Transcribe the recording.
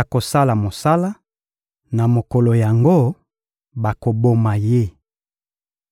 akosala mosala na mokolo yango, bakoboma ye.